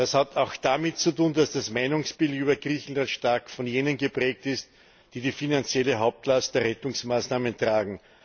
Das hat auch damit zu tun, dass das Meinungsbild gegenüber Griechenland stark von jenen geprägt ist, die die finanzielle Hauptlast der Rettungsmaßnahmen tragen.